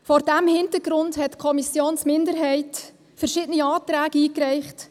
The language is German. Vor diesem Hintergrund hat die Kommissionsminderheit verschiedene Anträge eingereicht.